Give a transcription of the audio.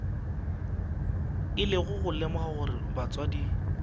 ile go lemoga gore batswadi